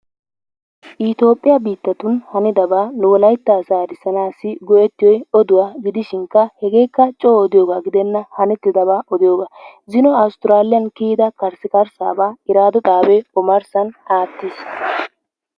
Itoophphiya biittatun hanidabaa nu wolaytta asaa erisanaassi go'ettiyoy oduwa gidishinkka hegeekka coo odiyoba gidenna hanettidabaa odiyoga. Zino Awustraaliyan kiyida karssikarsaabaa irraddoo xaabee ommarssan aattees.